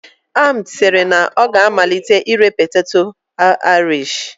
Ahmed siri na ọ ga-amalite ire poteto Irish